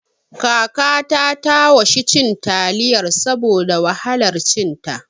Kakata ta washi cin taliyar saboda wahalar cin ta